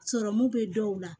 Sɔrɔmu bɛ dɔw la